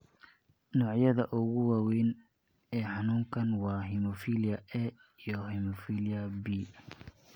Noocyada ugu waaweyn ee xanuunkaan waa hemophilia A iyo hemophilia B.